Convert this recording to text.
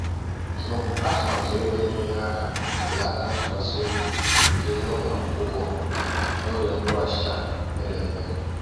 tụ atụmatụ ego na-enyere aka belata ntụkwasị obi gị n’ụlọ ụgwọ n’oge mkpụrụ ọchịcha pere mpe